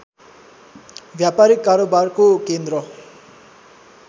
व्यापारीक कारोबारको केन्द्र